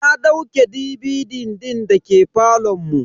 Na dauke DVD din da ke falon mu.